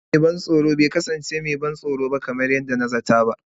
Fim ɗin mai ban tsoro bai kasance mai ban tsoro kamar yadda na zata ba.